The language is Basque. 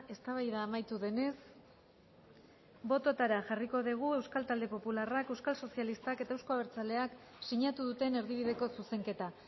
eztabaida amaitu denez bototara jarriko dugu euskal talde popularrak euskal sozialistak eta euzko abertzaleak sinatu duten erdibideko zuzenketa